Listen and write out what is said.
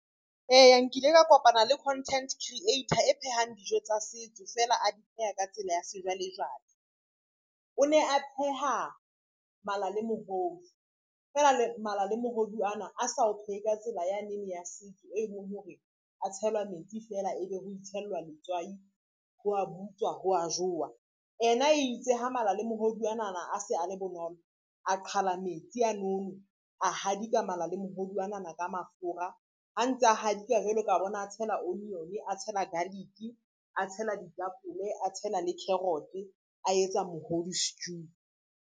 Eya nkile ka kopana le content creator e phehang dijo tsa setso feela a di pheha ka tsela ya sejwalejwale. O ne a pheha mala le mohodu feela mala le mohodu ana a sa o phehe ka tsela yanene ya setso e leng hore a tshelwa metsi fela e be ho itshellwa letswai, ho a butswa, ho a jowa. Ena itse ha mala le mohodu anana a se a le bonolo, a qhala metsi a nono, a hadika mala le mohodu anana ka mafura, a ntsa hadika jwalo ka bona, a tshela onion, a tshela garlic, a tshela ditapole, a tshela le carrot, a etsa mohodu stew.